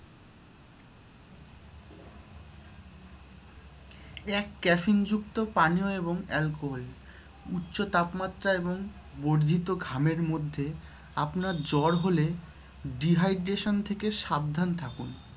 এক caffeine যুক্ত পানীয় এবং alcohol । উচ্চ তাপমাত্রা এবং বর্ধিত ঘামের মধ্যে, আপনার জ্বর হলে dehydration থেকে সাবধান থাকুন।